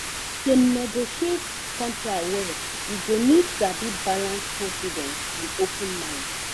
to negotiate contract well you go need sabi balance confidence and open mind.